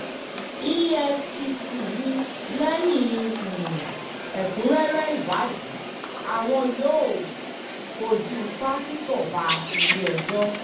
efcc ni lẹ́yìn um ẹ̀kúnrẹ́rẹ́ ìwádìí àwọn yóò um fojú pásítọ̀ bá ilé-ẹjọ́